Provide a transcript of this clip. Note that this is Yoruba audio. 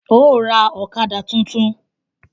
Óò ra ọ̀kadà tuntun!